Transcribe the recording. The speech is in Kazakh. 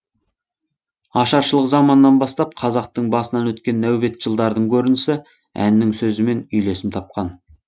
ашаршылық заманнан бастап қазақтың басынан өткен нәубет жылдардың көрінісі әннің сөзімен үйлесім тапқан